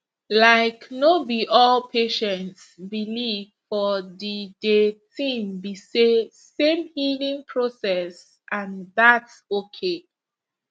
laik no bi all patients believe for di de tin be say same healing process and thats okay